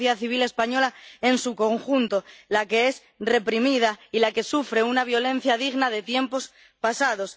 Es la sociedad civil española en su conjunto la que es reprimida y la que sufre una violencia digna de tiempos pasados.